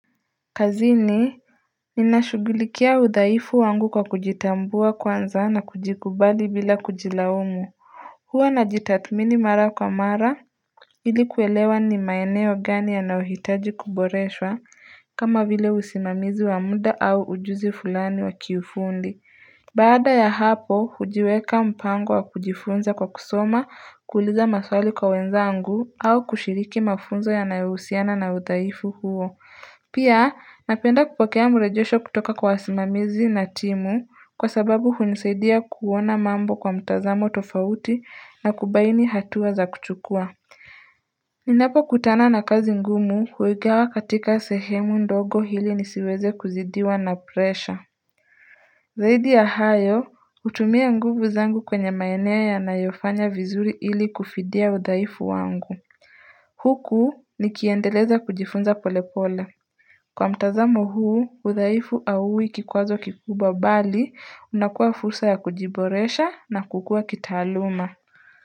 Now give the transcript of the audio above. Kazini Ninashugulikia udhaifu wangu kwa kujitambua kwanza na kujikubali bila kujilaumu Huwa najitathimini mara kwa mara ili kuelewa ni maeneo gani yanayohitaji kuboreshwa kama vile usimamizi wa muda au ujuzi fulani wa kiufundi Baada ya hapo hujiweka mpango wa kujifunza kwa kusoma, kuuliza maswali kwa wenzangu au kushiriki mafunzo yanayohusiana na udhaifu huo Pia napenda kupokea marejesho kutoka kwa wasimamizi na timu kwa sababu hunisaidia kuona mambo kwa mtazamo tofauti na kubaini hatua za kuchukua. Ninapokutana na kazi ngumu huigawa katika sehemu ndogo ili nisiweze kuzidiwa na presha. Zaidi ya hayo hutumia nguvu zangu kwenye maeneo yanayofanya vizuri ili kufidia udhaifu wangu. Huku nikiendeleza kujifunza polepole. Kwa mtazamo huu, udhaifu hauwi kikwazo kikubwa bali unakuwa fursa ya kujiboresha na kukuwa kitaaluma.